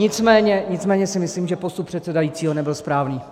Nicméně si myslím, že postup předsedajícího nebyl správný.